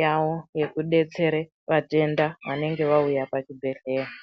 yawo yekudetsere vatenda vanenge vauya pachibhedhlera.